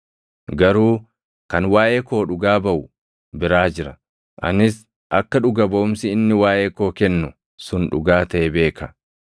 Garuu kan waaʼee koo dhugaa baʼu biraa jira; anis akka dhuga baʼumsi inni waaʼee koo kennu sun dhugaa taʼe beeka.